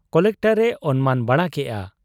Collector ᱮ ᱚᱱᱢᱟᱱ ᱵᱟᱲᱟ ᱠᱮᱜ ᱟ ᱾